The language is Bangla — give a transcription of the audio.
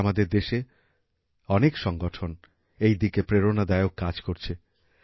আজ আমাদের দেশে অনেক সংগঠন এই দিকে প্রেরণাদায়ক কাজ করছে